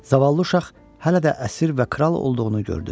Zavallı uşaq hələ də əsir və kral olduğunu gördü.